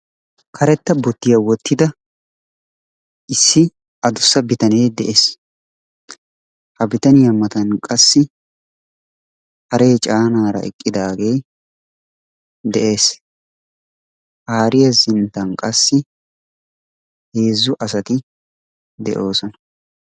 Karetta bottiyaa wottida issi adussa bitanee de'es. Ha bitaniyaa matan qassi haree canaara eqiidaagee de'es. Ha hariyaa sinttan qassi heezzu asati de"oosona.